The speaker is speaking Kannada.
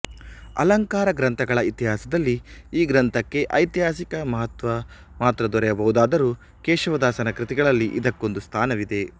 ಅಲಂಕಾರಗ್ರಂಥಗಳ ಇತಿಹಾಸದಲ್ಲಿ ಈ ಗ್ರಂಥಕ್ಕೆ ಐತಿಹಾಸಿಕ ಮಹತ್ವ ಮಾತ್ರ ದೊರೆಯಬಹುದಾದರೂ ಕೇಶವದಾಸನ ಕೃತಿಗಳಲ್ಲಿ ಇದಕ್ಕೊಂದು ಸ್ಥಾನವಿದೆ